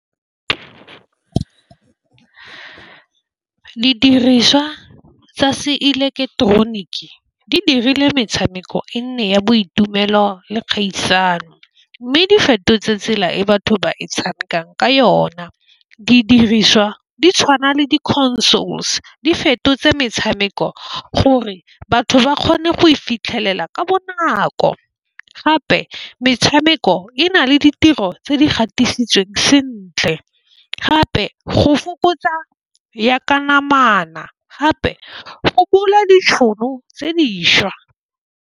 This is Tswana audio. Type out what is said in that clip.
Didiriswa tsa se eleketeroniki di dirile metshameko e nne ya boitumelo le kgaisano mme di fetotse tsela e batho ba e tshamekang ka yona. Didiriswa di tshwana le di-consoles di fetotse metshameko gore batho ba kgone go e fitlhelela ka bo nako gape metshameko e na le ditiro tse di gatisitsweng sentle gape go fokotsa ya ka namana gape fokola ditšhono tse dišwa.